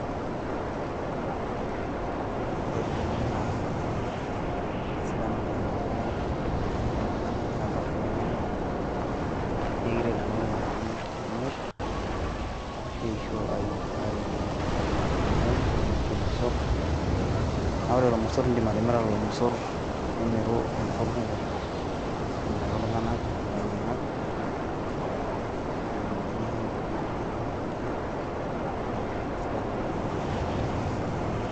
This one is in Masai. Ore ilukunkuni naa kisidan oleng amu tenelo oltungani niramat ilukunguni kumok nee ekiret nena lukunkuni tenimir ashu eisho aiu aiu irmayai ashu irmosorr. Naa ore lelo mosorr naa indim atimira lelo mosor nimiru irmosorr kumok amirakii ltunganak ,ilainyiangak naa itumiropiyiani sidan oleng ashu indimninye niyieng ilukunkuni nimir inkiri naa isidai oleng amu ekiretu.